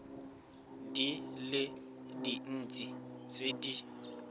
di le dintsi tse di